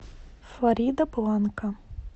флоридабланка